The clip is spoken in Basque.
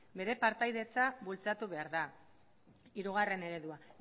bere partaidetza bultzatu behar da hirugarren eredua